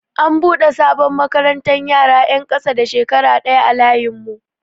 An buɗe sabon makarantar yara 'yan ƙasa da shekara ɗaya a layin mu.